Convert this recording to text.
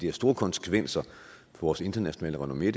har store konsekvenser for vores internationale renommé